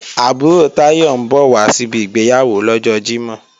Àbúrò Táyọ̀ ń bọ̀ wá síbi ìgbéyàwó lọ́jọ Jímọ̀